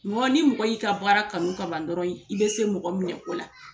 Mɔgɔ ni mɔgɔ y'i ka baara kanu ka ban dɔrɔn i bɛ se mɔgɔ minɛko la